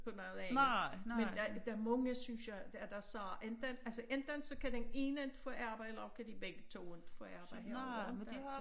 På noget andet men der der mange synes jeg der siger enten altså enten så kan den ene ikke få arbejde eller også kan de begge 2 ikke få arbejde herovre ikke altså